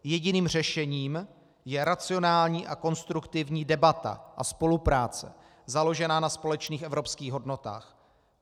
Jediným řešením je racionální a konstruktivní debata a spolupráce založená na společných evropských hodnotách.